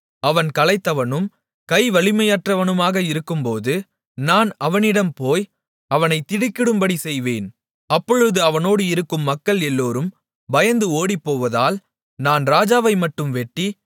அவன் களைத்தவனும் கை வலிமையற்றவனுமாக இருக்கும்போது நான் அவனிடம் போய் அவனைத் திடுக்கிடும்படிச் செய்வேன் அப்பொழுது அவனோடு இருக்கும் மக்கள் எல்லோரும் பயந்து ஓடிப்போவதால் நான் ராஜாவைமட்டும் வெட்டி